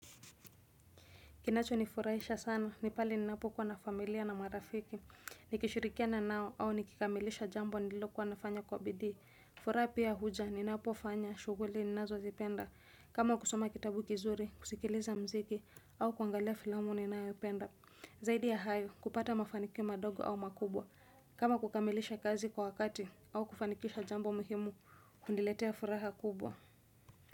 Kinacho nifurahisha sana, nipale ninapo kwa na familia na marafiki, nikishirikiana nao au nikikamilisha jambo nililokuwa nafanya kwa bidii. Furaha pia huja, ninapo fanya, shughuli ninazozipenda, kama kusoma kitabu kizuri, kusikiliza muziki, au kuangalia filamu ninayoipenda. Zaidi ya hayo kupata mafanikio madogo au makubwa, kama kukamilisha kazi kwa wakati au kufanikisha jambo muhimu, huniletea furaha kubwa.